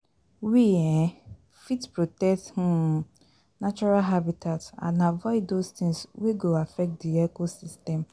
We um fit protect um natural habitat and avoid those things wey go affect di ecosystem